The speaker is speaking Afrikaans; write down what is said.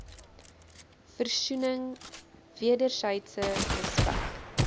versoening wedersydse respek